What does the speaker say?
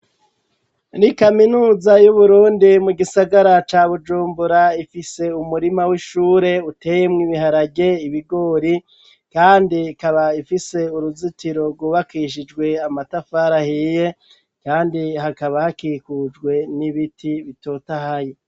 Muri kaminuza y'Uburundi, mu gisagara ca Bujumbura, ifise umurima w'ishure uteyemwo ibiharage, ibigori, kandi ikaba ifise uruzitiro rwubakishijwe amatafari ahiye, kandi hakaba hakikujwe n'ibiti bitotahaye.